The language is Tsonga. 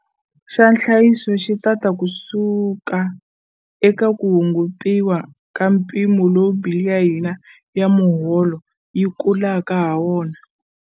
Xa nhlayiso xi ta ta kusuka eka ku hungutiwa ka mpimo lowu bili ya hina ya miholo yi kulaka hawona.